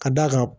Ka d'a kan